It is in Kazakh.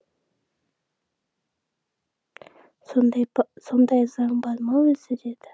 сондай заң бар ма өзі деді